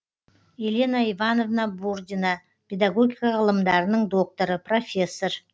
елена ивановна бурдина педагогика ғылымдарының докторы профессор